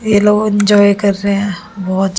ये लोग इंजॉय कर रहे हैं बहुत--